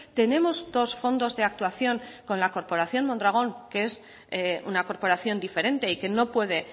tenemos dos fondos de actuación con la corporación mondragón que es una corporación diferente y que no puede